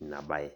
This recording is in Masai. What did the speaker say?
inabae.